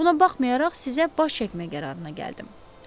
Buna baxmayaraq sizə baş çəkmək qərarına gəldim.